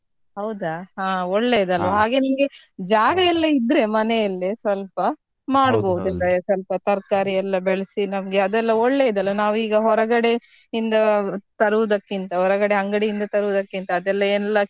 ಹೌದಾ ಹಾ, ಒಳ್ಳೇದಲ್ವ ಹಾಗೆ ನಿಮ್ಗೆ ಜಾಗ ಎಲ್ಲ ಇದ್ರೆ ಮನೆಯಲ್ಲೇ ಸ್ವಲ್ಪ ಸ್ವಲ್ಪ ತರ್ಕಾರಿ ಎಲ್ಲ ಬೆಳ್ಸಿ ನಮ್ಗೆ ಅದೆಲ್ಲ ಒಳ್ಳೇದಲ್ಲ ನಾವ್ ಈಗ ಹೊರಗಡೆ ಇಂದ ತರುವುದಕ್ಕಿಂತ ಹೊರಗಡೆ ಅಂಗಡಿ ಇಂದ ತರುವುದಕ್ಕಿಂತ ಅದೆಲ್ಲ ಎಲ್ಲ.